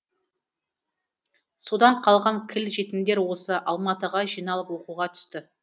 содан қалған кіл жетімдер осы алматыға жиналып оқуға түсті